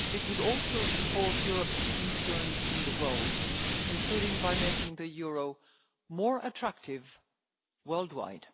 It would also support Europe's influence in the world, including by making the euro more attractive worldwide.